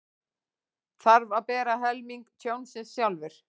Þarf að bera helming tjónsins sjálfur